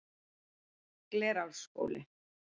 Glerárskóli